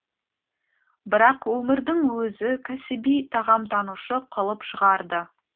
бірақ өмірдің өзі кәсіби тағамтанушы қылып шығарды